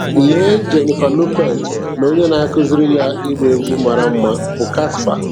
"Lee Jennifer Lopez na onye na-akụziri ya ịgba egwu mara mma bụ Casper.